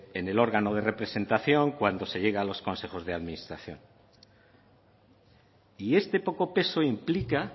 en el órgano de representación cuando se llega a los consejos de administración y este poco peso implica